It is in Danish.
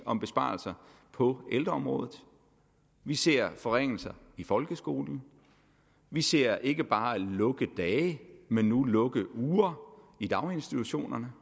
om besparelser på ældreområdet vi ser forringelser i folkeskolen vi ser ikke bare lukkedage men nu lukkeuger i daginstitutionerne